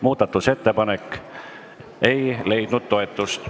Muudatusettepanek ei leidnud toetust.